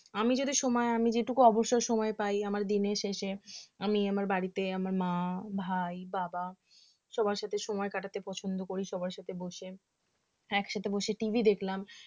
আমি যদি সময় আমি যেটুকু অবসর সময় পাই আমার দিনের শেষে আমি আমার বাড়িতে আমার মা ভাই বাবা সবার সাথে সময় কাটাতে পছন্দ করি সবার সাথে বসে একসাথে বসে TV দেখলাম